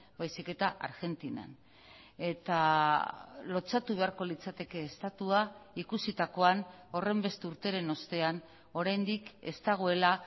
baizik eta argentinan eta lotsatu beharko litzateke estatua ikusitakoan horrenbeste urteren ostean oraindik ez dagoela